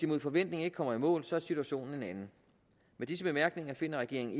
mod forventning ikke kommer i mål er situationen en anden med disse bemærkninger finder regeringen